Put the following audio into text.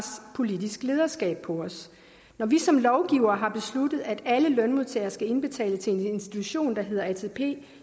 politisk lederskab på os når vi som lovgivere her besluttet at alle lønmodtagere skal indbetale til en institution